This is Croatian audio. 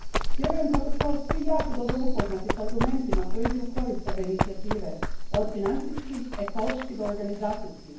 Vjerujem kako smo svi jako dobro upoznati s argumentima koji idu ukorist ove inicijative, od financijskih, ekoloških do organizacijskih.